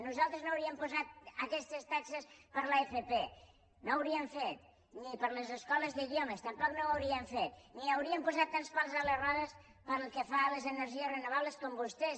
nosaltres no hauríem posat aquestes taxes per a l’fp no ho hauríem fet ni per a les escoles d’idiomes tampoc no ho hauríem fet ni hauríem posat tants pals a les rodes pel que fa a les energies renovables com vostès